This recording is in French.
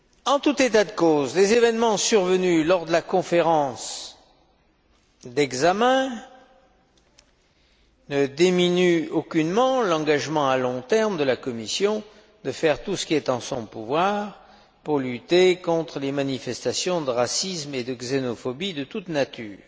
En tout état de cause, les événements survenus lors de la conférence d'examen ne diminuent aucunement l'engagement à long terme de la Commission de faire tout ce qui est en son pouvoir pour lutter contre les manifestations de racisme et de xénophobie de toute nature.